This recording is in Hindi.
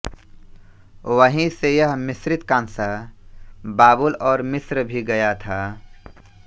वहीं से यह मिश्रित काँसा बाबुल और मिस्र भी गया था